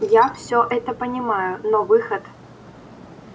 я всё это понимаю но выход